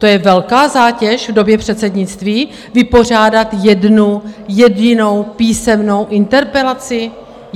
To je velká zátěž v době předsednictví, vypořádat jednu jedinou písemnou interpelaci?